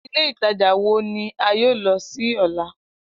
Ile Itaja wo ni a yoo lọ si ọla?